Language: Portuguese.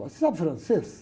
Você sabe francês?